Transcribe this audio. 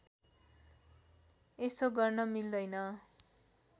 यसो गर्न मिल्दैन